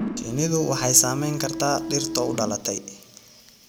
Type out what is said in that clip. Shinnidu waxay saamayn kartaa dhirta u dhalatay.